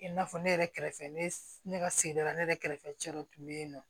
I n'a fɔ ne yɛrɛ kɛrɛfɛ ne ka sigida la ne yɛrɛ kɛrɛfɛ cɛ dɔ tun bɛ yen nɔ